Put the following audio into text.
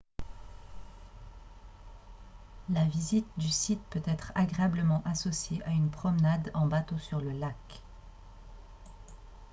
la visite du site peut être agréablement associée à une promenade en bateau sur le lac